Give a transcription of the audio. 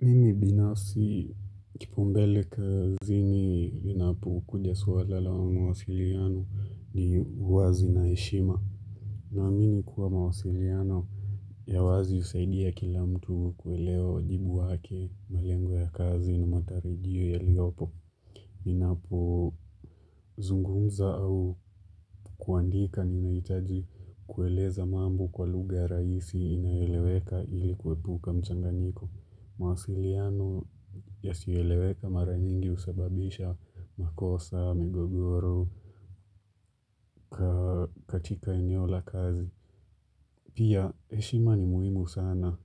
Mimi binafsi kipau mbele kazini inapo kuja swala la mawasiliano ni uwazi na heshima. Naamini kuwa mawasiliano ya wazi husaidia kila mtu kuelewa wajibu wake malengo ya kazi ni matarijio yaliopo. Ninapo zungumza au kuandika ninayitaji kueleza mambo kwa lugha ya rahisi inayoeleweka ili kuepuka mchanganyiko. Mawasiliano yasiyoeleweka mara nyingi husababisha makosa, magogoro, katika eneo la kazi Pia heshima ni muhimu sana